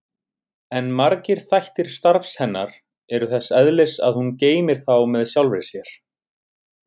En margir þættir starfs hennar eru þess eðlis að hún geymir þá með sjálfri sér.